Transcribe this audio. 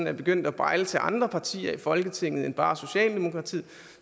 er begyndt at bejle til andre partier i folketinget end bare socialdemokratiet